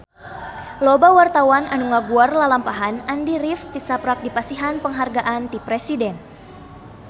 Loba wartawan anu ngaguar lalampahan Andy rif tisaprak dipasihan panghargaan ti Presiden